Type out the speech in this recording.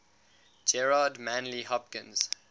gerard manley hopkins